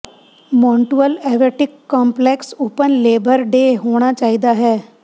ਮੌਨਟੂਅਲ aquatic complex open labour day ਹੋਣਾ ਚਾਹੀਦਾ ਹੈ